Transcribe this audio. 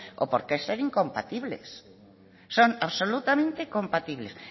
o por qué ser incompatibles son absolutamente compatibles